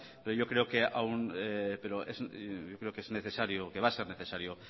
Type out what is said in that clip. pero yo creo que es necesario que va a ser necesario